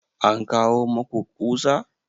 An kawo maku ƙusa?